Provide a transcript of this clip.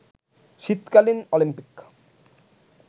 শীতকালীন অলিম্পিক